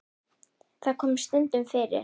Það kom stundum fyrir.